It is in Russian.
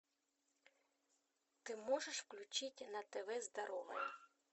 ты можешь включить на тв здоровое